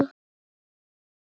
Ég brosti.